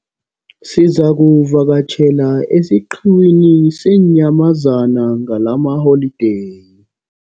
Sizakuvakatjhela esiqhiwini seenyamazana ngalamaholideyi.